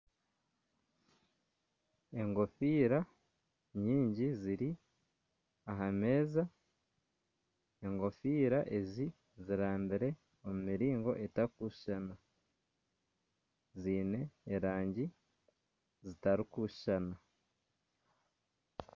Enkofiira nyingi ziri aha meeza, enkofiira ezi ziraabire omu miringo etarikushushana ziine erangi zitarikushushana